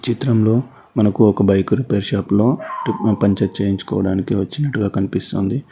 చిత్రంలో మనకు ఒక బైక్ రిపేర్ షాప్ లో పంచారు చేయించుకోవడానికి వచ్చినట్టుగా కనిపిస్తోంది.